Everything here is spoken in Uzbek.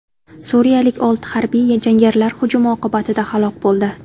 Suriyalik olti harbiy jangarilar hujumi oqibatida halok bo‘ldi.